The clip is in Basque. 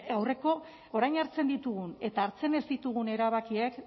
aurreko orain hartzen ditugun eta hartzen ez ditugun erabakiek